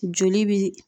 Joli bi